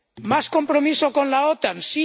¿Más compromiso con la OTAN?